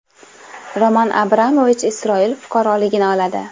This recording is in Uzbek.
Roman Abramovich Isroil fuqaroligini oladi.